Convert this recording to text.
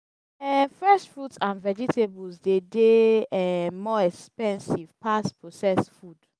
um fresh fruits and vegetables dey de um more expensive pass processed food